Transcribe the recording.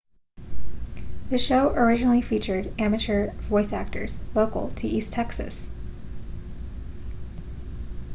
the show originally featured amateur voice actors local to east texas